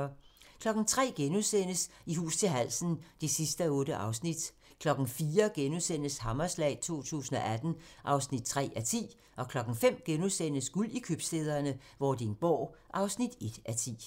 03:00: I hus til halsen (8:8)* 04:00: Hammerslag 2018 (3:10)* 05:00: Guld i købstæderne - Vordingborg (1:10)*